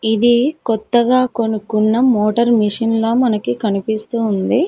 ఇది కొత్తగా కొనుకున్న మోటర్ మిషిన్ ల మనకి కనిపిస్తూ ఉంది.